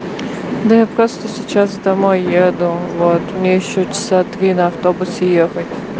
да я просто сейчас домой еду вот мне ещё часа три на автобусе ехать